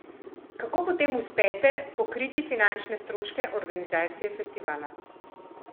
Kako potem uspete pokriti finančne stroške organizacije festivala?